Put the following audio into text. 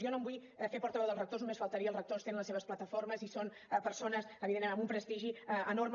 jo no em vull fer portaveu dels rectors només faltaria els rectors tenen les seves plataformes i són persones evidentment amb un prestigi enorme